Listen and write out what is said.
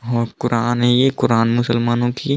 ओर Quran है ये Quran मुसलमानो की---